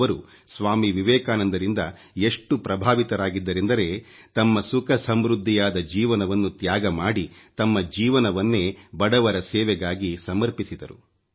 ಅವರು ಸ್ವಾಮಿ ವಿವೇಕಾನಂದರಿಂದ ಎಷ್ಟು ಪ್ರಭಾವಿತರಾಗಿದ್ದರೆಂದರೆ ತಮ್ಮ ಸುಖ ಸಮೃದ್ಧಿಯಾದ ಜೀವನವನ್ನು ತ್ಯಾಗ ಮಾಡಿ ತಮ್ಮ ಜೀವನವನ್ನೇ ಬಡವರ ಸೇವೆಗಾಗಿ ಸಮರ್ಪಿಸಿದರು